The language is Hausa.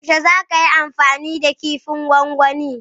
Yaushe za ka yi amfani da kifin gwangwani?